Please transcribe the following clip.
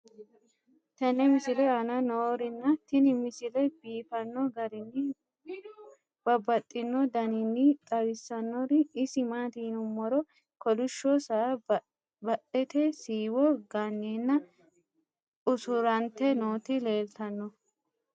tenne misile aana noorina tini misile biiffanno garinni babaxxinno daniinni xawissannori isi maati yinummoro kolishsho saa badette siiwo ganeenna usurantte nootti leelittanno?.